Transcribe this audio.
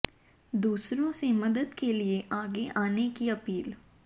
दूसरों से मदद के लिए आगे आने की अपील